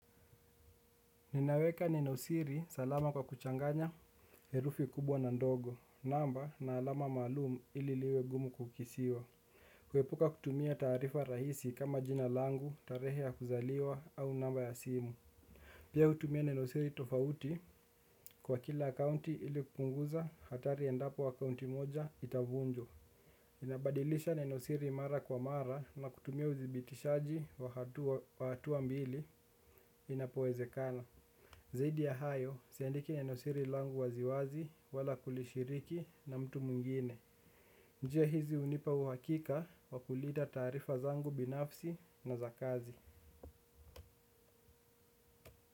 Ninaweka neno siri salama kwa kuchanganya herufi kubwa na ndogo, namba na alama maalum ili liwe ngumu kungesiwa. Kuepuka kutumia taarifa rahisi kama jina langu, tarehe ya kuzaliwa au namba ya simu. Pia hutumia neno siri tofauti kwa kila akaunti ili kupunguza hatari endapo akaunti moja itavunjwa. Inabadilisha neno siri mara kwa mara na kutumia udhibizitaji wa hatua mbili inapoezekana. Zaidi ya hayo, siandiki neno siri langu waziwazi wala kulishiriki na mtu mwingine. Njia hizi unipa uhakika wa kulinda taarifa zangu binafsi na za kazi.